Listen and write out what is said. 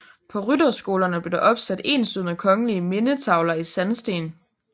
På rytterskolerne blev der opsat enslydende kongelige mindetavler i sandsten